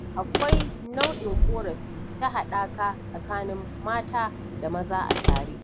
Akwai nau'in ƙorafi na haɗaka tsakanin mata da maza a tare.